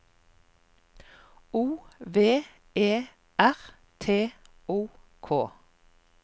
O V E R T O K